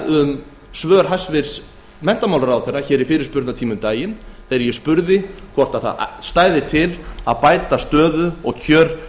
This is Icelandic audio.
um svör hæstvirtur menntamálaráðherra í fyrirspurnatíma um daginn þegar ég spurði hvort til stæði að bæta stöðu og kjör